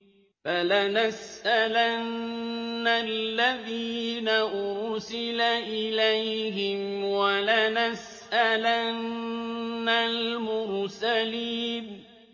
فَلَنَسْأَلَنَّ الَّذِينَ أُرْسِلَ إِلَيْهِمْ وَلَنَسْأَلَنَّ الْمُرْسَلِينَ